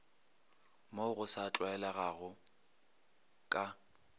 mo go sa tlwaelegago ka